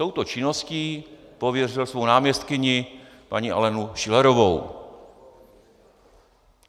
Touto činností pověřil svou náměstkyni paní Alenu Schillerovou.